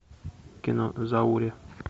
кино зауре